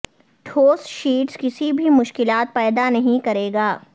ٹھوس شیٹس کسی بھی مشکلات پیدا نہیں کرے گا